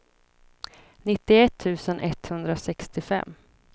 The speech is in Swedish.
nittioett tusen etthundrasextiofem